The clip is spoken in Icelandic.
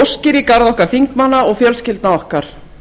óskir í garð okkar þingmanna og fjölskyldna okkar